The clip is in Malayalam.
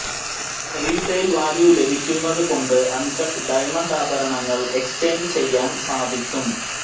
റീസെയിൽ വാല്യു ലഭിക്കുന്നതു കൊണ്ട് അൺ കട്ട് ഡയമണ്ട് ആഭരണങ്ങൾ എക്ചെയ്ഞ്ച് ചെയ്യാൻ സാധിക്കും